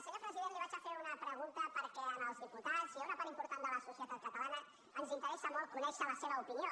senyor president li faré una pregunta perquè als diputats i a una part important de la societat catalana ens interessa molt conèixer la seva opinió